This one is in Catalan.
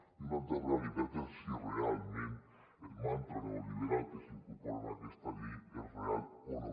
i una altra realitat és si realment el mantra neoliberal que s’incorpora en aquesta llei és real o no